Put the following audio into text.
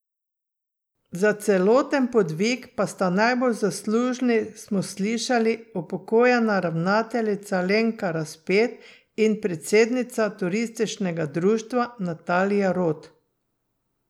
Za celoten podvig pa sta najbolj zaslužni, smo slišali, upokojena ravnateljica Lenka Raspet in predsednica turističnega društva Natalija Rot.